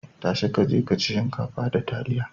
Ta shi ka je ka ci shinkafa da taliya.